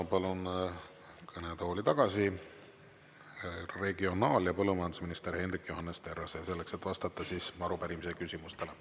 Ja palun kõnetooli tagasi regionaal- ja põllumajandusminister Henrik Johannes Terrase, selleks et vastata arupärimise küsimustele.